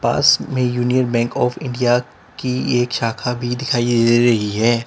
पास में Union Bank of India की एक शाखा भी दिखाई दे रही है।